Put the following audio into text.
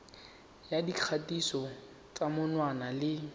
ya dikgatiso tsa menwana le